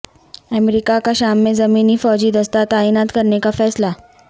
امریکہ کا شام میں زمینی فوجی دستہ تعینات کرنے کا فیصلہ